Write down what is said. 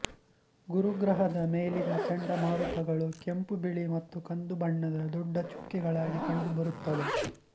ಗುರುಗ್ರಹದ ಮೇಲಿನ ಚಂಡಮಾರುತಗಳು ಕೆಂಪುಬಿಳಿ ಮತ್ತು ಕಂದು ಬಣ್ಣದ ದೊಡ್ಡ ಚುಕ್ಕೆಗಳಾಗಿ ಕಂಡುಬರುತ್ತವೆ